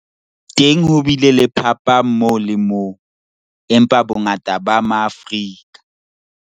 Teng ho bile le phapang moo le moo, empa bongata ba Maafrika